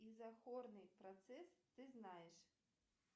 изохорный процесс ты знаешь